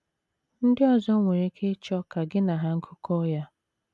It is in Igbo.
Ndị ọzọ nwere ike ịchọ ka gị na ha gụkọọ ya.